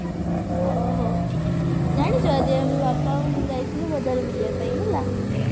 ଓହହୋ ଜାଣିଛୁ ଆଜି ଆମେ ବାପା ମୁଁ ଯାଇଥିଲୁ ବଜାର ବୁଲିବା ପାଇଁ ହେଲା